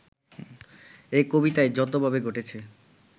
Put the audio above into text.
এ কবিতায় যতভাবে ঘটেছে